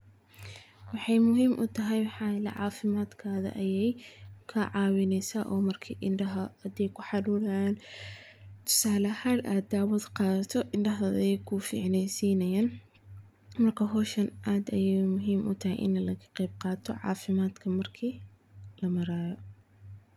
Waxeey muhiim utahay cafimaad kaada ayeey ka caawineysa, indaha ayeey ku ficneenesa, aad ayeey muhiim utahay.